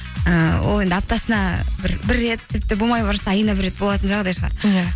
ыыы ол енді аптасына бір рет тіпті болмай бара жатса айына бір рет болатын жағдай шығар иә